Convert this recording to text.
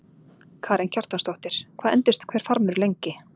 Karen Kjartansdóttir: Hvað endist hver farmur lengi?